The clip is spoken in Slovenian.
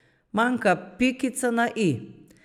Manjka pikica na i.